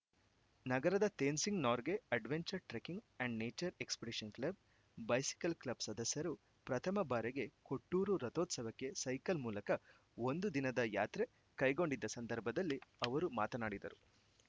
ನಗರದ Tenzing Norgay adventure trekking and nature expedition club bicycle club ಸದಸ್ಯರು ಪ್ರಥಮ ಬಾರಿಗೆ ಕೊಟ್ಟೂರು ರಥೋತ್ಸವಕ್ಕೆ ಸೈಕಲ್‌ ಮೂಲಕ ಒಂದು ದಿನದ ಯಾತ್ರೆ ಕೈಗೊಂಡಿದ್ದ ಸಂದರ್ಭದಲ್ಲಿ ಅವರು ಮಾತನಾಡಿದರು